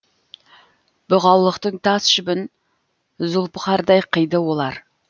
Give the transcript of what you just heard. бұғаулықтың тас жібін зұлпықардай қиды олар